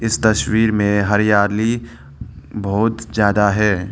इस तस्वीर में हरियाली बहुत ज्यादा है।